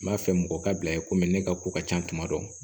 N b'a fɛ mɔgɔ ka bila yen komi ne ka ko ka ca tuma dɔ